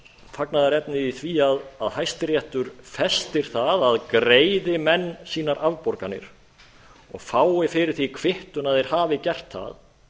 fagnaðarefni í því að hæstiréttur festir það að greiði menn sínar afborganir og fái fyrir því kvittun að þeir hafi gert það